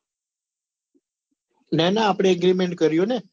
નાના આપડે agreement કર્યો ને